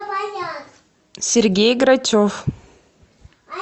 сергей грачев